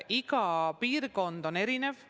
Iga piirkond on erinev.